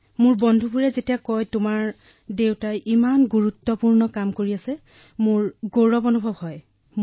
হয় মোৰ সকলো বন্ধুৱে কয় যে তোমাৰ দেউতাই এনে গুৰুত্বপূৰ্ণ কাম কৰি আছে তেতিয়া মোৰ গৌৰৱ অনুভৱ হয়